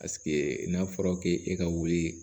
Paseke n'a fɔra k'e ka wuli